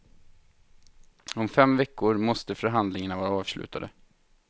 Om fem veckor måste förhandlingarna vara avslutade.